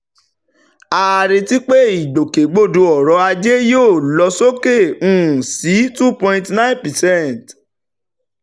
a retí pé ìgbòkègbodò ọrọ̀ ajé yóò lọ sókè um sí two point nine percent